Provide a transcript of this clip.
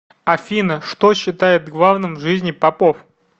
афина что считает главным в жизни попов